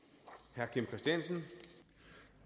jeg